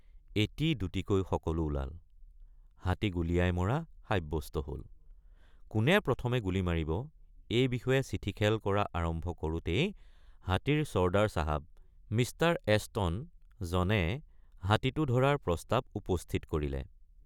এটি দুটিকৈ সকলো ওলাল হাতী গুলীয়াই মৰা সাব্যস্ত হল কোনে প্ৰথমে গুলী মাৰিব এই বিষয়ে চিঠিখেল কৰা আৰম্ভ কৰোঁতেই হাতীৰ ছৰ্দাৰ চাহাব Mr.Ashton জনে হাতীটো ধৰাৰ প্ৰস্তাৱ উপস্থিত কৰিলে।